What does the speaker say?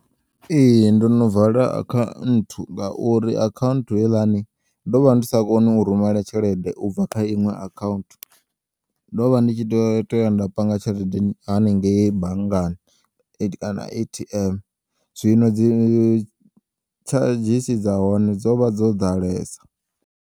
Ee, ndono vala akhaunthu ngauri akhaunthu heiḽani ndovha ndis akoni urumela tshelede ubva kha iṅwe akhaunthu ndovha ndi tshitea u toya nda panga tshelede hani ngeyi banngani kana A_T_M zwino dzi tshadzhisi dza hone dzovha dzo ḓalesa.